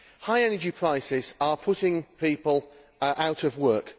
High energy prices are putting people out of work.